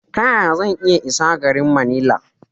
Ta yaya zan iya isa garin Manila?